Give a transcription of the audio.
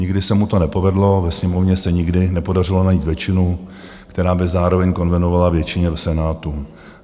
Nikdy se mu to nepovedlo, ve Sněmovně se nikdy nepodařilo najít většinu, která by zároveň konvenovala většině v Senátu.